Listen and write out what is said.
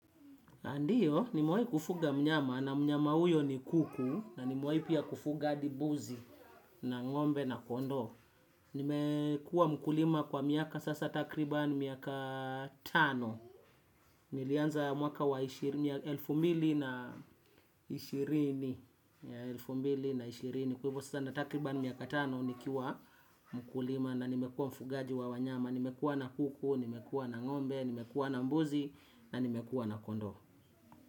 Ndiyo, nimewahi kufuga mnyama na mnyama huyo ni kuku na nimewahi pia kufuga hadi buzi na ng'ombe na kondoo. Nimekuwa mkulima kwa miaka sasa takriba miaka tano. Nilianza mwaka wa elfu mbili na ishirini. Kwa hivyo sasa natakriba miaka tano nikiwa mkulima na nimekuwa mfugaji wa wanyama. Nimekuwa na kuku, nimekuwa na ng'ombe, nimekuwa na mbuzi na nimekuwa na kondoo.